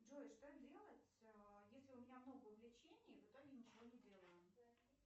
джой что делать если у меня много увлечений в итоге ничего не делаю